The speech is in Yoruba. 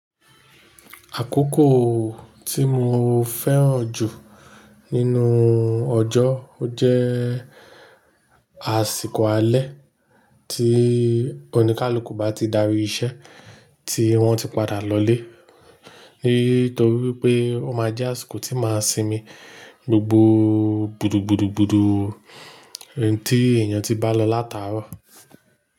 Àkókò tí mo fẹ́ràn jù nínú ọjọ́ jẹ́ àsìkò alẹ́ tí oníkálukú bá ti darí iṣẹ́ tí wọ́n ti padà lọ ilé. Nítorí pé ó máa jẹ́ àsìkò tí máa sinmi gbogbo gbúrudú búrudú búrudú tí èèyàn ti bá lọ láta rọ̀